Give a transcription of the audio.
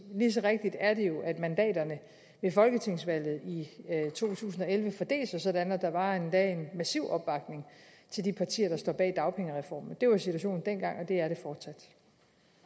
lige så rigtigt er det jo at mandaterne ved folketingsvalget i to tusind og elleve fordelte sig sådan at der var en endda massiv opbakning til de partier der står bag dagpengereformen det var situationen dengang